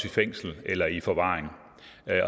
i fængsel eller i forvaring